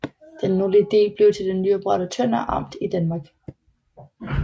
Den nordlige del blev til det nyoprettede Tønder Amt i Danmark